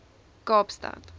kaapstad